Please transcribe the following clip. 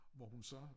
Hvor hun så